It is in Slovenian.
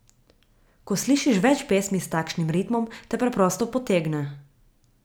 Ko slišiš več pesmi s takšnim ritmom, te preprosto potegne.